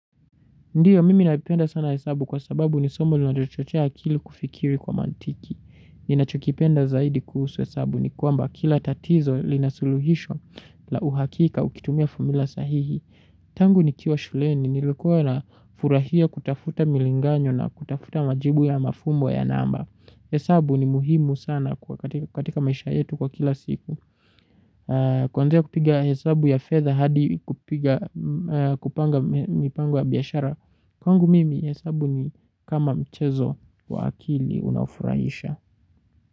Ndio, mimi napenda sana hesabu kwa sababu ni somo linalochochea akili kufikiri kwa maantiki. Ninachokipenda zaidi kuhusu hesabu ni kwamba kila tatizo lina suluhisho la uhakika ukitumia formula sahihi. Tangu nikiwa shuleni, nilikuwa na furahia kutafuta milinganyo na kutafuta majibu ya mafumbo ya namba. Hesabu ni muhimu sana katika maisha yetu kwa kila siku. Kwanzia kupiga hesabu ya fedha hadi kupanga mipango ya biashara. Kwangu mimi hesabu ni kama mchezo wa akili unaofurahisha.